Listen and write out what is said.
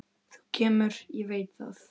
Þú kemur, ég veit það.